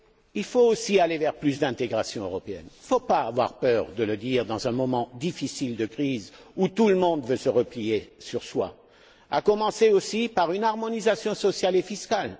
Il faut aussi aller vers plus d'intégration européenne il ne faut pas avoir peur de le dire dans un moment difficile de crise où tout le monde veut se replier sur soi à commencer, aussi, par une harmonisation sociale et fiscale.